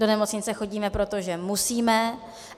Do nemocnice chodíme proto, že musíme.